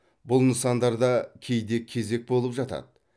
бұл нысандарда кейде кезек болып жатады